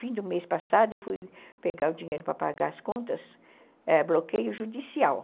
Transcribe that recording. Fim do mês passado, eu fui pegar o dinheiro para pagar as contas, é, bloqueio judicial.